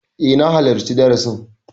E, na halarci darasin.